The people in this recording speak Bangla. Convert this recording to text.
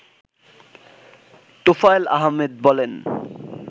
তোফায়েল আহমেদ বলেন